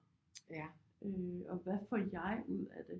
Ja og hvad får jeg ud af det